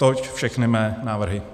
Toť všechny mé návrhy.